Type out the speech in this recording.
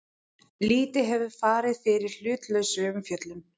Lítið hafi farið fyrir hlutlausri umfjöllun